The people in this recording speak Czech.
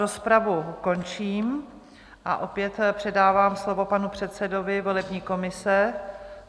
Rozpravu končím a opět předávám slovo panu předsedovi volební komise.